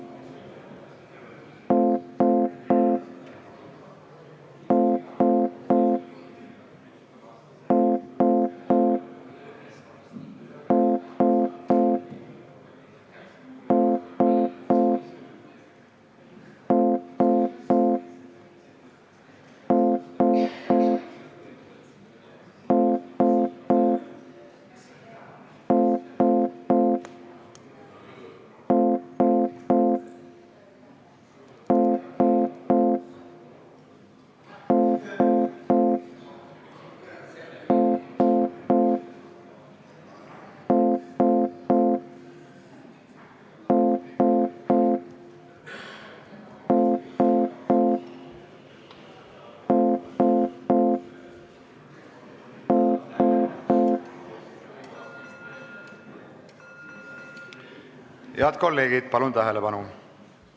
Head kolleegid, palun tähelepanu!